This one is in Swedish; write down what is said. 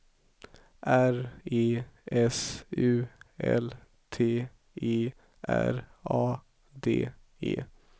R E S U L T E R A D E